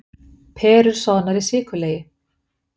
Perur soðnar í sykurlegi